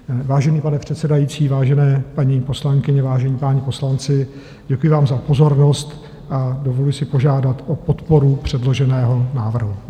Vážený pane předsedající, vážené paní poslankyně, vážení páni poslanci, děkuji vám za pozornost a dovoluji si požádat o podporu předloženého návrhu.